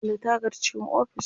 Kulle tagar cikin ofis.